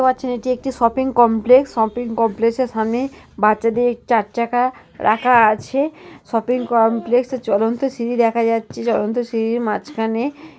দেখতে পাচ্ছেন এটি একটি শপিং কমপ্লেক্স । শপিং কমপ্লেক্সের সামনে বাচ্চাদের চার চাকা রাখা আছে । শপিং কমপ্লেক্স -এ চলন্ত সিঁড়ি দেখা যাচ্ছে। চলন্ত সিঁড়ির মাঝ খানে --